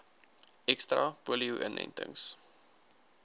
ekstra polio inentings